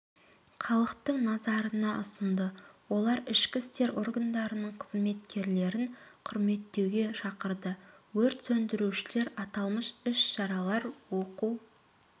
халықтың назарына ұсынды олар ішкі істер органдарының қызметкерлерін құрметтеуге шақырды өрт сөндірушілер аталмыш іс-шаралар оқу